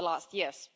years.